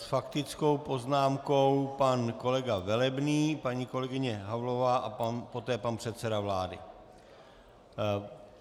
S faktickou poznámkou pan kolega Velebný, paní kolegyně Havlová a poté pan předseda vlády.